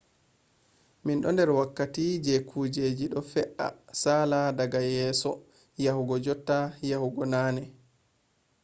min do der wakkati je kujeji do fe’a sala daga yeso yahugo jotta yehugo nane